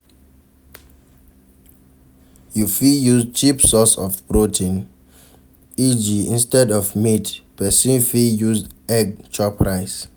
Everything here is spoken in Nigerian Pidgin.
You fit use cheap source of protein eg instead of meat, person fit use egg chop rice